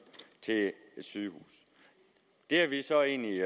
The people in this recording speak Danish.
til et sygehus det er vi så egentlig